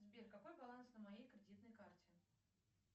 сбер какой баланс на моей кредитной карте